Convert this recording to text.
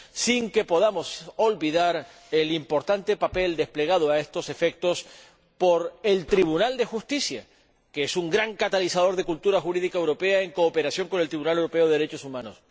sin que podamos olvidar el importante papel desplegado a estos efectos por el Tribunal de Justicia, que es un gran catalizador de cultura jurídica europea, en cooperación con el Tribunal Europeo de Derechos Humanos.